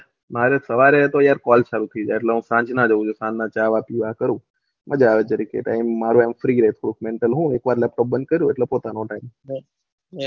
મારે સવારે તો અત્યારે કોલ સરખી જાય તો સાંજ ના જાવ છું સાંજ ના ચા વા પીવા કરી મજા આવે જરીક તો તાઈ મારે ફ્રી હોય લેપટોપ બંદ કરી એટલે પોતાનો ટાયમ છે